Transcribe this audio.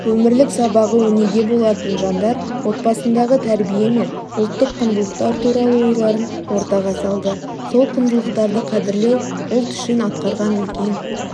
өмірлік сабағы өнеге болатын жандар отбасындағы тәрбие мен ұлттық құндылықтар туралы ойларын ортаға салды сол құндылықтарды қадірлеу ұлт үшін атқарған үлкен